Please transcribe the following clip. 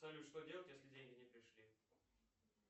салют что делать если деньги не пришли